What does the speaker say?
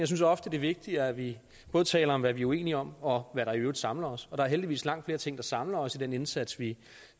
synes ofte det er vigtigt at vi både taler om hvad vi er uenige om og om der er i øvrigt samler os og der er heldigvis langt flere ting der samler os i den indsats vi